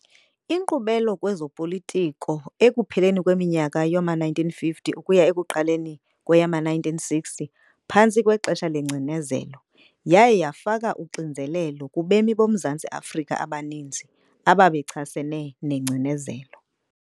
Inkqubela kwezopolitiko ekupheleni kweminyaka yama-1950 ukuya ekuqaleni kweyama-1960 phantsi kwexesha lengcinezelo , yaye yafaka uxinzelelo kubemi boMzantsi Afrika abaninzi ababechasene nengcinezelo.